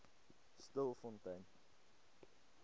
stilfontein